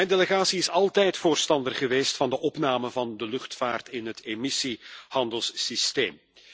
En mijn delegatie is altijd voorstander geweest van de opname van de luchtvaart in het emissiehandelssysteem.